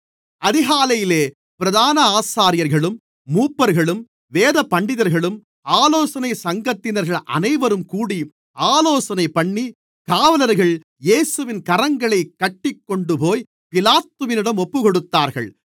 அதிகாலையிலே பிரதான ஆசாரியர்களும் மூப்பர்களும் வேதபண்டிதர்களும் ஆலோசனைச் சங்கத்தினர்கள் அனைவரும் கூடி ஆலோசனைபண்ணி காவலர்கள் இயேசுவின் கரங்களைக் கட்டிக் கொண்டுபோய் பிலாத்துவிடம் ஒப்புக்கொடுத்தார்கள்